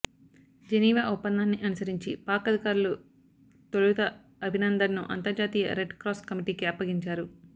Geneva ఒప్పందాన్ని అనుసరించి పాక్ అధికారులు తొలుత అభినందన్ను అంతర్జాతీయ రెడ్ క్రాస్ కమిటీకి అప్పగించారు